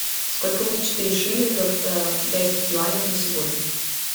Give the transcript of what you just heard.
сколько будет четыре шиллингов в китайских юанях на сегодня